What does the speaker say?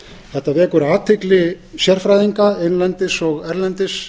þetta vekur athygli sérfræðinga innlendis og erlendis